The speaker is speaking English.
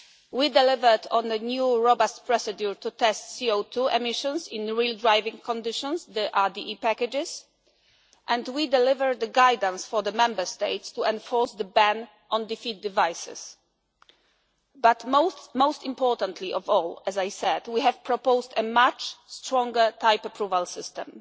WLTP test. We delivered on the new robust procedure to test CO2 emissions, in real driving conditions, the RDE packages. And we delivered the guidance for the Member States to enforce the ban on defeat devices. Most importantly of all, as I said we have proposed a much stronger type approval